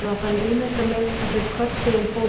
Ég var farinn að ímynda mér að þeir körpuðu um pólitík